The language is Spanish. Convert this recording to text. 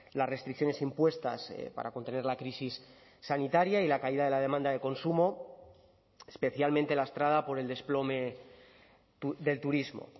las restricciones impuestas para contener la crisis sanitaria y la caída de la demanda de consumo especialmente lastrada por el desplome del turismo